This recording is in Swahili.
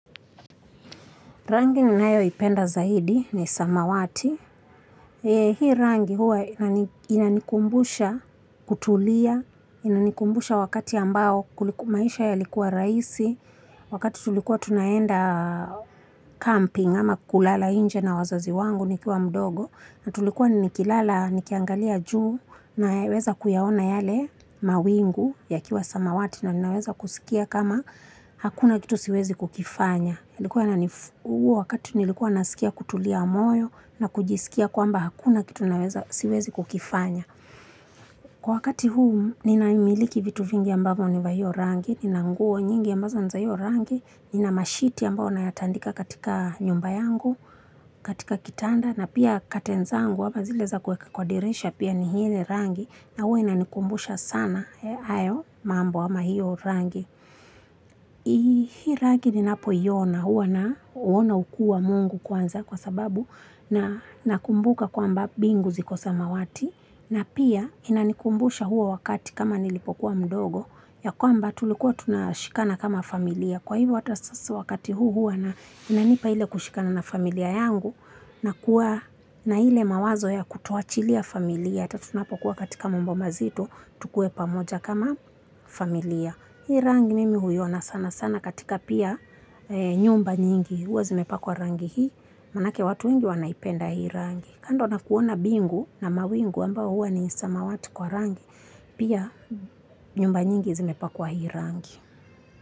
Rangi ninayoipenda zaidi ni samawati. Hii rangi huwa inanikumbusha kutulia, inanikumbusha wakati ambao maisha yalikuwa rahisi, wakati tulikuwa tunaenda camping ama kulala nje na wazazi wangu nikiwa mdogo, na tulikuwa nikilala nikiangalia juu naweza kuyaona yale mawingu yakiwa samawati na naweza kusikia kama hakuna kitu siwezi kukifanya. Huu wakati nilikuwa nasikia kutulia moyo na kujisikia kwamba hakuna kitu naweza, siwezi kukifanya. Kwa wakati huu ninamiliki vitu vingi ambavyo ni vya hio rangi, nina nguo nyingi ambazo niza hio rangi, nina mashiti ambayo nayatandika katika nyumba yangu, katika kitanda, na pia curtain zangu ama zile za kuweka kwa dirisha pia ni hile rangi na hua inanikumbusha sana hayo mambo ama hiyo rangi. Hii rangi ni napoiona huwa nauona ukuu wa mungu kwanza kwa sababu nakumbuka kwa mba bingu ziko samawati na pia inanikumbusha huo wakati kama nilipokuwa mdogo ya kwamba tulikuwa tunashikana kama familia kwa hivyo hata sasa wakati huu inainanipa ile kushikana na familia yangu na kuwa na ile mawazo ya kutoachilia familia hata tunapokuwa katika mambo mazito tukue pamoja kama familia. Hii rangi mimi huiona sana sana katika pia nyumba nyingi. Huwa zimepakwa rangi hii, manake watu wengi wanaipenda hii rangi. Kando na kuona mbingu na mawingu ambao huwa ni samawati kwa rangi, pia nyumba nyingi zimepakwa hii rangi.